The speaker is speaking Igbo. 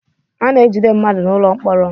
A na-ejide mmadụ n'ụlọ mkpọrọ.